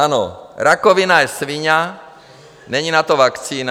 Ano, rakovina je sviňa, není na to vakcína.